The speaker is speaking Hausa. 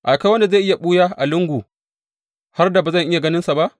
Akwai wanda zai iya ɓuya a lungu har da ba zan iya ganinsa ba?